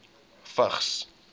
vigs